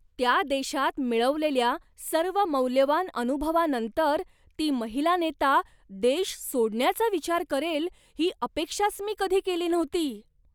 त्या देशात मिळवलेल्या सर्व मौल्यवान अनुभवानंतर, ती महिलानेता देश सोडण्याचा विचार करेल ही अपेक्षाच मी कधी केली नव्हती.